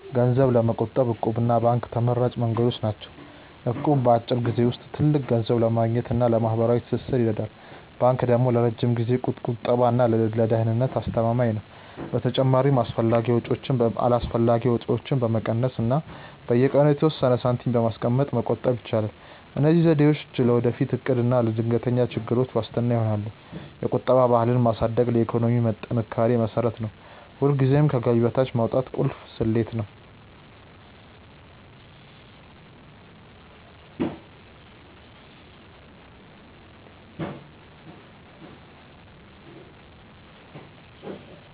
ገንዘብ ለመቆጠብ 'እቁብ' እና ባንክ ተመራጭ መንገዶች ናቸው። እቁብ በአጭር ጊዜ ውስጥ ትልቅ ገንዘብ ለማግኘት እና ለማህበራዊ ትስስር ይረዳል። ባንክ ደግሞ ለረጅም ጊዜ ቁጠባ እና ለደህንነት አስተማማኝ ነው። በተጨማሪም አላስፈላጊ ወጪዎችን በመቀነስ እና በየቀኑ የተወሰነ ሳንቲም በማስቀመጥ መቆጠብ ይቻላል። እነዚህ ዘዴዎች ለወደፊት እቅድ እና ለድንገተኛ ችግሮች ዋስትና ይሆናሉ። የቁጠባ ባህልን ማሳደግ ለኢኮኖሚ ጥንካሬ መሰረት ነው። ሁልጊዜም ከገቢ በታች ማውጣት ቁልፍ ስልት ነው።